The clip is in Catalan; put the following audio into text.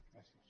gràcies